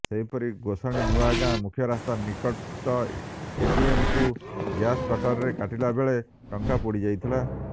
ସେହିପରି ଗୋଷାଣି ନୂଆଗାଁ ମୁଖ୍ୟରାସ୍ତା ନିକଟ ଏଟିଏମ୍କୁ ଗ୍ୟାସ କଟର୍ରେ କାଟିଲା ବେଳେ ଟଙ୍କା ପୋଡିଯାଇଥିଲା